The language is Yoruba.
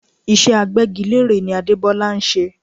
Iṣẹ́ Agbẹ́gilére ni Adebola ń ṣe